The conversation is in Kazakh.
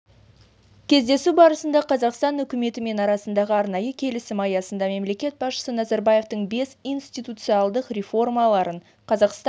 кездесу барысында қазақстан үкіметі мен арасындағы арнайы келісім аясында мемлекет басшысы назарбаевтың бес институционалдық реформаларын қазақстан